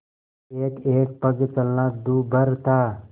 एकएक पग चलना दूभर था